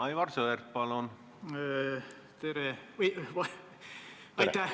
Aivar Sõerd, palun!